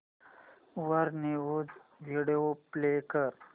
वर news video play कर